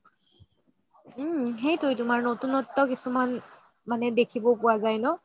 উম সেইটোৱেটো তুমাৰ নতুনত্ব কিছোমান মানে দেখিব পুৱা যাই ন